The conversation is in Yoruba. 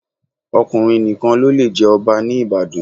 Ọkùnrin nìkan ló le jẹ Ọba ní Ìbàdàn.